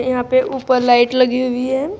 यहां पे ऊपर लाइट लगी हुई है।